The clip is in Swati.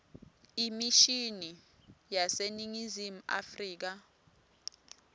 emishini yaseningizimu afrika